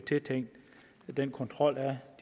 den kontrol af